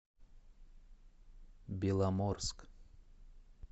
беломорск